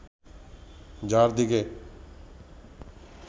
যার দিকে